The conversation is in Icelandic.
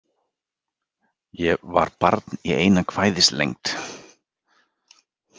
Ég var barn í eina kvæðislengd.